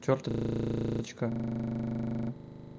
ручка